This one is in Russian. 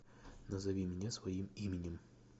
назови меня своим именем